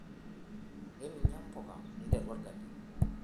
eninya mpuka nteru orgali